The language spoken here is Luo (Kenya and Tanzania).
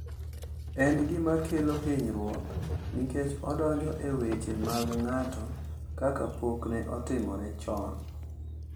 En gima kelo hinyruok nikech odonjo e weche mag ng’ato kaka pok ne otimore chon.